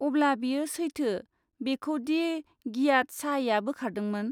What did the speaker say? अब्ला, बेयो सैथो, बेखौ दि गियाथ शाहया बोखारदोंमोन?